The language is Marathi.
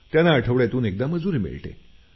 त्यांना आठवड्यातून एकदा मजुरी मिळते